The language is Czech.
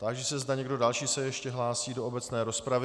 Táži se, zda někdo další se ještě hlásí do obecné rozpravy.